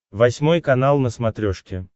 восьмой канал на смотрешке